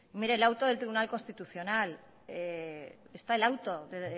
mire el auto del tribunal constitucional está el auto